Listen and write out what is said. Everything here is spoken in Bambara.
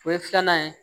O ye filanan ye